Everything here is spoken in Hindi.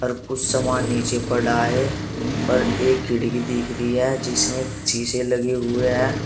कुछ समान नीचे पड़ा है और एक खिड़की दिख रही है जिसमें शीशे लगे हुए हैं।